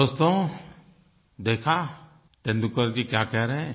दोस्तो देखा तेंदुलकर जी क्या कह रहे हैं